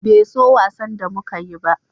Bai so wasan da muka yi ba